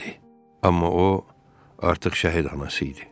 Amma o artıq şəhid anası idi.